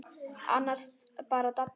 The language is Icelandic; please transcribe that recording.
Annars bara Didda.